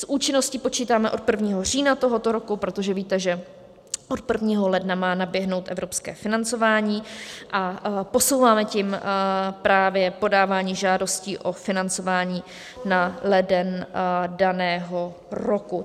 S účinností počítáme od 1. října tohoto roku, protože víte, že od 1. ledna má naběhnout evropské financování, a posouváme tím právě podávání žádostí o financování na leden daného roku.